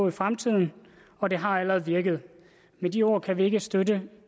i fremtiden og det har allerede virket med de ord kan vi ikke støtte